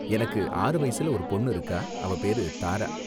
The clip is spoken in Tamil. எனக்கு ஆறு வயசுல ஒரு பொண்ணு இருக்கா, அவ பேரு தாரா.